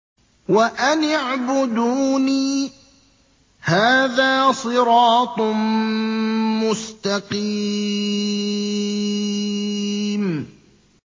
وَأَنِ اعْبُدُونِي ۚ هَٰذَا صِرَاطٌ مُّسْتَقِيمٌ